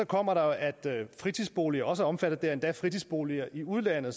kommer der jo at fritidsboliger også er omfattet det er endda fritidsboliger i udlandet